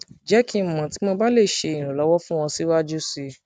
jẹ ki n mọ ti mo ba le ṣe iranlọwọ fun ọ siwaju sii ọ siwaju sii